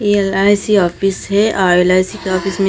LIC office है और LIC के ऑफिस में--